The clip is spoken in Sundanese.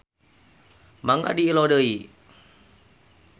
Mangga diilo deui.